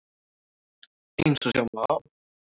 Eins og sjá má á